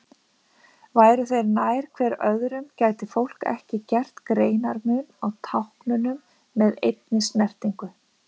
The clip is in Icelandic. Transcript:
Væru þeir nær hver öðrum gæti fólk ekki gert greinarmun á táknunum með einni snertingu.